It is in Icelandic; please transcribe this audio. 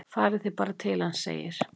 """Farið þið bara til hans, segir"""